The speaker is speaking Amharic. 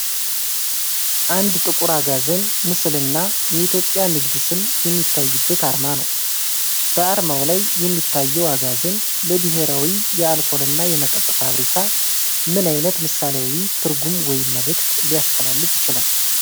አንድ ጥቁር አጋዘን ምስልና የኢትዮጵያ ንግድ ስም የሚታይበት አርማ ነው። በአርማው ላይ የሚታየው አጋዘን ለ"ብሔራዊ የአልኮል እና መጠጥ ፋብሪካ" ምን ዓይነት ምሳሌያዊ ትርጉም ወይም መልእክት ሊያስተላልፍ ይችላል?